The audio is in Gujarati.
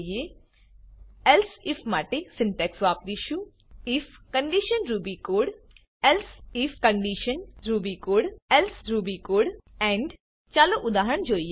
એલ્સિફ માટે સિન્ટેક્સ વાપરીશું IF condition Ruby code if condition Ruby code elsif condition Ruby code elsif condition Ruby code else Ruby code else Ruby code end end ચાલો ઉદાહરણ જોઈએ